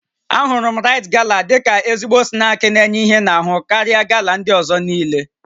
Ahụrụ m Rite Gala dịka ezigbo snaakị n'enye ihe n'ahụ karịa Gala ndị ọzọ niile